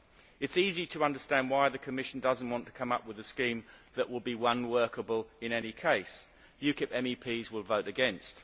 It is easy to understand why the Commission does not want to come up with a scheme that will be unworkable in any case. UKIP MEPs will vote against.